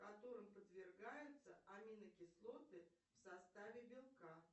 которым подвергаются аминокислоты в составе белка